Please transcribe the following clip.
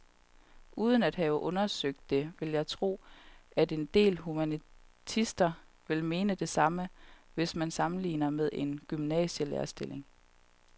Uden at have undersøgt det vil jeg tro, at en del humanister vil mene det samme, hvis man sammenligner med en gymnasielærerstilling.